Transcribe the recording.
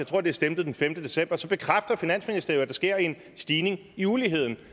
tror det er stemplet den femte december så bekræfter finansministeriet der sker en stigning i uligheden